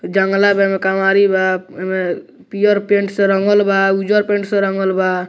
जंगला बा एमें केवाड़ी बा एमें पियर पेंट से रंगल बा उज्जर पेंट से रंगल बा।